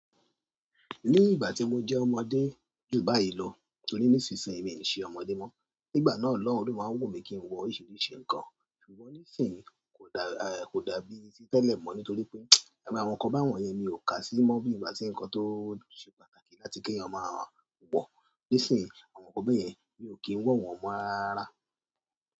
Ní ìgbà tí mo jẹ́ ọmọdé ju báyìí lọ torí nísinsìnyí mi ò ṣe ọmọdé mọ́, nígbà náà lọ́hun máa ń wù mí kí n wọ oríṣiríṣi nǹkan. Ṣùgbọ́n nísinsìnyí kò dàbí ti tẹ́lẹ̀ mọ́ nítorí pé, ẹ̀gbẹ́ àwọn ọkọ̀ báwọ́n yẹn mi ò kàá sí mọ́ bí ìgbà tí ǹkan tó ṣe pàtàkì láti kí ẹ̀yàn máa wọ̀. Nísinsìnyí àwọn nkan báyẹn mi ò kí ń wọ̀ wọ́n mọ́ rara rara.